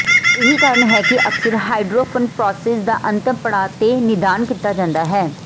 ਇਹੀ ਕਾਰਨ ਹੈ ਕਿ ਅਕਸਰ ਹਾਈਡਰੋਫਨਫ੍ਰੋਸਿਸ ਦਾ ਅੰਤਮ ਪੜਾਅ ਤੇ ਨਿਦਾਨ ਕੀਤਾ ਜਾਂਦਾ ਹੈ